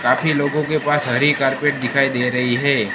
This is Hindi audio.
काफी लोगो के पास हरी कार्पेट दिखाई दे रही है।